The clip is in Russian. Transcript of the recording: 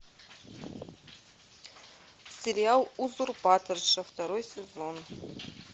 сериал узурпаторша второй сезон